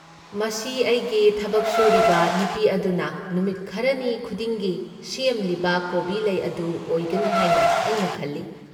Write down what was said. ꯃꯁꯤ ꯑꯩꯒꯤ ꯊꯕꯛ ꯁꯨꯔꯤꯕ ꯅꯨꯄꯤ ꯑꯗꯨꯅ ꯅꯨꯃꯤꯠ ꯈꯔꯅꯤ ꯈꯨꯗꯤꯡꯒꯤ ꯁꯦꯝꯂꯤꯕ ꯀꯣꯕꯤ ꯂꯩ ꯑꯗꯨ ꯑꯣꯏꯒꯅꯤ ꯍꯥꯏꯅ ꯑꯩꯅ ꯈꯜꯂꯤ꯫